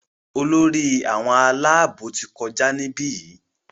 Olórí àwọn Àlàabò tí kọjá nibiyi.